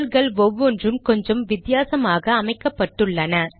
ஷெல்கள் ஒவ்வொன்றும் கொஞ்சம் வித்தியாசமாக அமைக்கப்பட்டுள்ளன